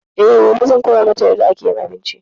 E, gobe zan koya mata yarda ake abinci.